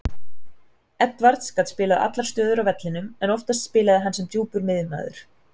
Edwards gat spilað allar stöður á vellinum en oftast spilaði hann sem djúpur miðjumaður.